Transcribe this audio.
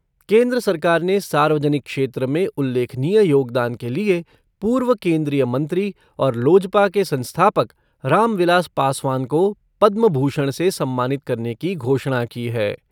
केन्द्र सरकार ने सार्वजनिक क्षेत्र में उल्लेखनीय योगदान के लिए पूर्व केन्द्रीय मंत्री और लोजपा के संस्थापक रामविलास पासवान को पद्म भूषण से सम्मानित करने की घोषणा की है।